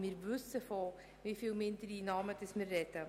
Wir wissen, über wie viele Mindereinnahmen wir reden.